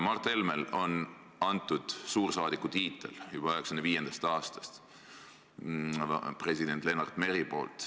Mart Helmele andis suursaadiku tiitli juba 1995. aastal president Lennart Meri.